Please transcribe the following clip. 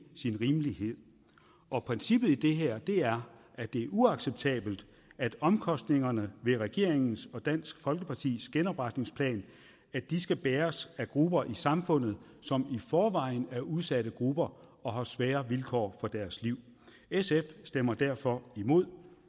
rimeligt og princippet i det her er at det er uacceptabelt at omkostningerne ved regeringens og dansk folkepartis genopretningsplan skal bæres af grupper i samfundet som i forvejen er udsatte grupper og som har svære vilkår for deres liv sf stemmer derfor imod